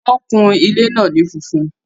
Wọ́n kun ilé náà ní funfun